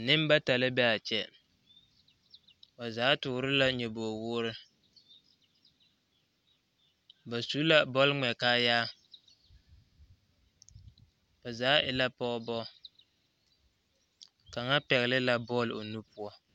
Nembata la be a kyɛ ba zaa tɔɔre la nyobogi woore ba su la bɔl ŋmɛ kaaya ba zaa e la pɔgebɔ kaŋa pɛgle bɔl o nu poɔ